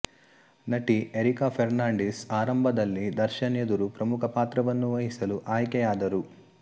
ನಟಿ ಎರಿಕಾ ಫೆರ್ನಾಂಡಿಸ್ ಆರಂಭದಲ್ಲಿ ದರ್ಶನ್ ಎದುರು ಪ್ರಮುಖ ಪಾತ್ರವನ್ನು ವಹಿಸಲು ಆಯ್ಕೆಯಾದರು